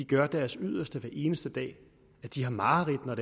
gør deres yderste hver eneste dag at de har mareridt når